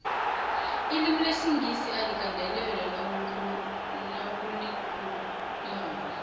ilimulesingisi aligandelelwa nawulikhulu mako